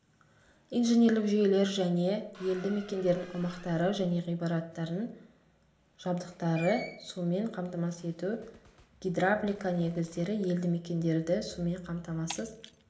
инженерлік жүйелер және елді мекендердің аумақтары және ғимараттардың жабдықтары сумен қамтамасыз ету гидравлика негіздері елді мекендерді сумен қамтамасыз